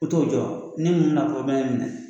O t'o jɔ ne